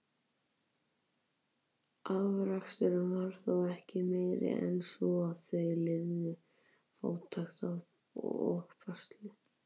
Afraksturinn var þó ekki meiri en svo, að þau lifðu í fátækt og basli.